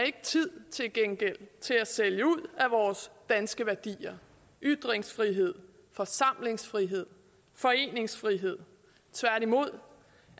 ikke tid til at sælge ud af vores danske værdier ytringsfrihed forsamlingsfrihed foreningsfrihed tværtimod